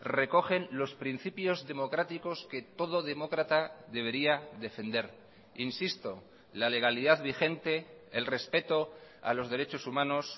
recogen los principios democráticos que todo demócrata debería defender insisto la legalidad vigente el respeto a los derechos humanos